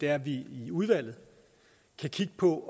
er at vi i udvalget kan kigge på